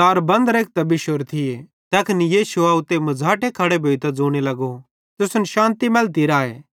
दार बन्द केरतां बिश्शोरे थिये तैखन यीशु आव ते मझ़ाटे खड़ो भोइतां ज़ोने लगो तुसन शान्ति मैलती राए